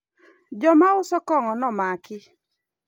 jomauso kong'o nomaki